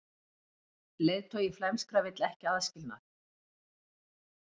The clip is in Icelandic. Leiðtogi flæmskra vill ekki aðskilnað